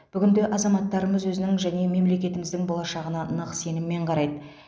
бүгінде азаматтарымыз өзінің және мемлекетіміздің болашағына нық сеніммен қарайды